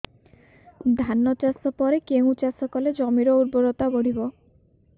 ଧାନ ଚାଷ ପରେ କେଉଁ ଚାଷ କଲେ ଜମିର ଉର୍ବରତା ବଢିବ